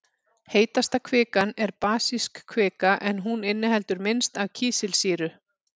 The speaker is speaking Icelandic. Heitasta kvikan er basísk kvika en hún inniheldur minnst af kísilsýru.